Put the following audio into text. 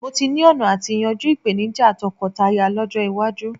Mó tí ni ọ̀nà àti yanjú ìpèníjà tọkọtaya lọ́jọ́ iwájú